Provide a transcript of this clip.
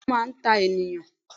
Béèni Ó máa n ta ènìyàn